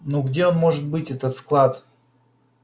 ну где он может быть этот склад